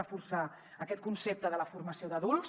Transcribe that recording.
reforçar aquest concepte de la formació d’adults